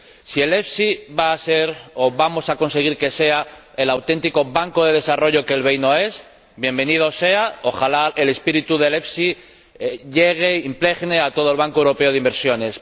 Si el EFSI va a ser, o vamos a conseguir que sea, el auténtico banco de desarrollo que el BEI no es, ¡bienvenido sea! Ojalá el espíritu del EFSI llegue, impregne, a todo el Banco Europeo de Inversiones.